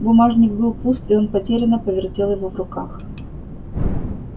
бумажник был пуст и он потерянно повертел его в руках